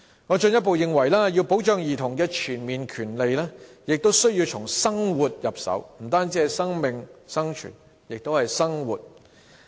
我進一步認為，要保障兒童的全面權利，必須從生活入手，不單是生命、生存，還有生活。